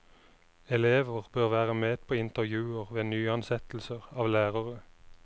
Elever bør være med på intervjuer ved nyansettelser av lærere.